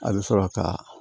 A bɛ sɔrɔ ka